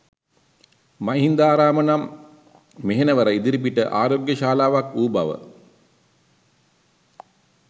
මහින්දාරාම නම් මෙහෙණවර ඉදිරිපිට ආරෝග්‍යශාලාවක් වූ බව